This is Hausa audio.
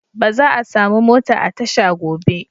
Ba za'a samu mota a tasha gobe.